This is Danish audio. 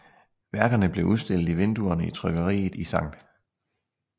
Værkerne blev udstillet i vinduerne i trykkeriet i St